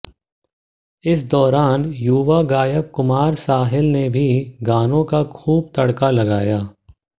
इस दौरान युवा गायक कुमार साहिल ने भी गानों का खूब तड़का लगाया